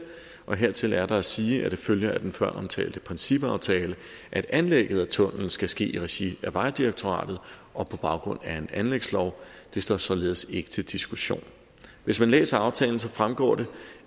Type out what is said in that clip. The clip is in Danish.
hertil er der at sige at det følger af den føromtalte principaftale at anlægget af tunnellen skal ske i regi af vejdirektoratet og på baggrund af en anlægslov det står således ikke til diskussion hvis man læser aftalen fremgår det